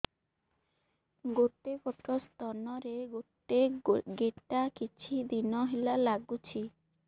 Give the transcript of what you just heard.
ଗୋଟେ ପଟ ସ୍ତନ ରେ ଗୋଟେ ଗେଟା କିଛି ଦିନ ହେଲା ଲାଗୁଛି